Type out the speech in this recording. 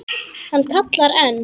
Hann kallar enn.